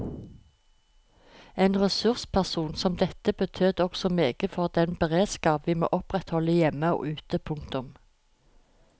En ressursperson som dette betød også meget for den beredskap vi må opprettholde hjemme og ute. punktum